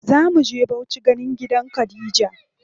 Zamu je Bauchi ganin gidan Khadija.